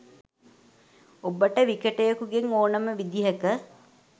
ඔබට විකටයෙකු ගෙන් ඕනෙම විදිහක